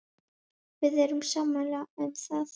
Við erum sammála um það.